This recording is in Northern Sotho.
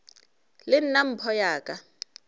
le nna mpho ya ka